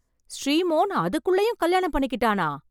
ஸ்ரீமோன் அதுக்குள்ளயும் கல்யாணம் பண்ணிக்கிட்டானா!